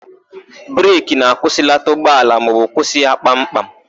Breki na-akwụsịlata ụgbọala maọbụ kwụsị ya kpam kpam.